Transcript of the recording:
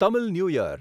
Tamil new year